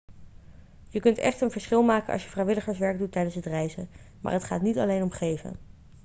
je kunt echt een verschil maken als je vrijwilligerswerk doet tijdens het reizen maar het gaat niet alleen om geven